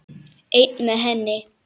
Einn með henni.